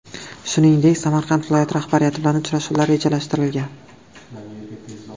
Shuningdek, Samarqand viloyati rahbariyati bilan uchrashuvlar rejalashtirilgan.